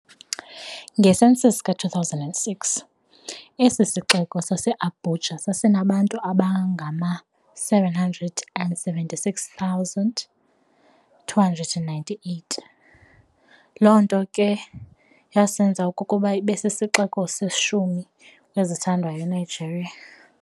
Nge-census ka2006, esi sixeko saseAbuja sasinabantu abangama776,298, loo nto ke yasenza okokuba ibesisixeko seshumi kwezithandwayo eNigeria.